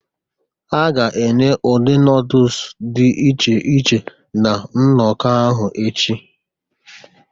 Ha ga-enye ụdị noodles dị iche iche na nnọkọ ahụ echi